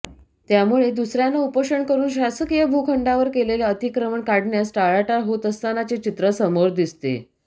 त्यामुळे दुसऱ्यांना उपोषण करून शासकीय भूखंडावर केलेले अतिक्रमण काढण्यास टाळाटाळ होत असतानाचे चित्र समोर दिसते